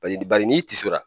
Bari bari n'i tisora